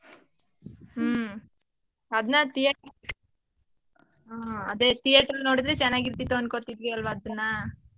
ಹ್ಮ. ಅದ್ನ theater . ಆ. ಅದೇ theatre ಅಲ್ ನೋಡಿದ್ರೆ ಚೆನ್ನಾಗಿರ್ತಿತ್ತು ಅನ್ಕೋತಿದ್ವಿ ಅಲ್ವಾ ಅದನ್ನ.